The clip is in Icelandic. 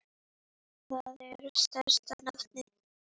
Það er stærsta nafnið.